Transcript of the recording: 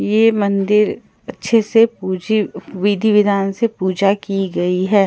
ये मंदिर अच्छे से पूजी विधि-विधान से पूजा की गई है।